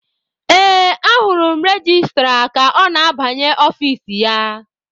Ee, ahụrụ m registra ka ọ na-abanye ọfici ya.